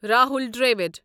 Rahul Dravid